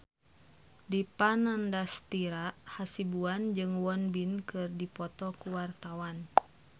Dipa Nandastyra Hasibuan jeung Won Bin keur dipoto ku wartawan